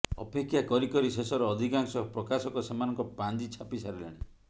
ଅପେକ୍ଷା କରି କରି ଶେଷରେ ଅଧିକାଂଶ ପ୍ରକାଶକ ସେମାନଙ୍କ ପାଞ୍ଜି ଛାପି ସାରିଲେଣି